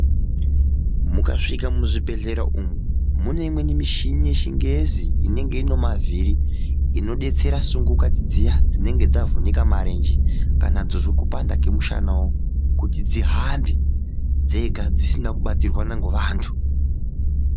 Muka svika mu zvibhedhlera umu mune imweni mishini ye chingezi inenge ine mavhiri ino detsera sungukatsi dziya dzinenge dzavhunika marenje kana dzozwe kupanda kwe mushana wo kuti dzihambe dzega dzisina ku batirwana nge vantu.